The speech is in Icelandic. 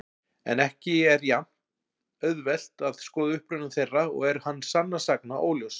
En ekki er jafn-auðvelt að skoða uppruna þeirra og er hann sannast sagna óljós.